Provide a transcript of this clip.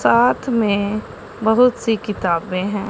साथ में बहुत सी किताबें हैं।